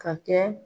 Ka kɛ